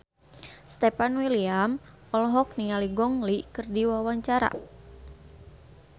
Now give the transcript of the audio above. Stefan William olohok ningali Gong Li keur diwawancara